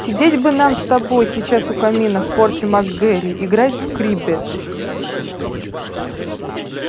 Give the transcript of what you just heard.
сидеть бы нам с тобой сейчас у камина в форте мак гэрри играть в криббедж